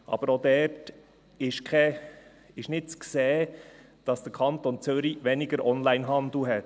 Aber auch dort ist nicht zu sehen, dass der Kanton Zürich weniger Onlinehandel hätte.